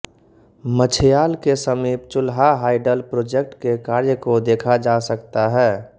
मछयाल के समीप Chulha hydel project के कार्य को देखा जा सकता है